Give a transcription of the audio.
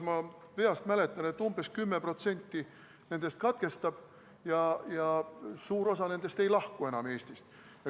Ma mäletan, et umbes 10% nendest katkestab ja suur osa neist ei lahku enam Eestist.